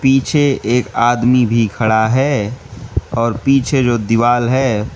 पीछे एक आदमी भी खड़ा है और पीछे जो दीवाल है।